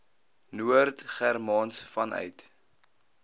noord germaans vanuit